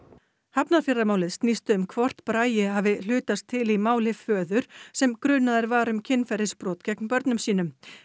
hafnarfjarðarmálið snýst um hvort Bragi hafi hlutast til í máli föður sem grunaður var um kynferðisbrot gegn börnum sínum